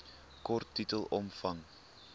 kort titel omvang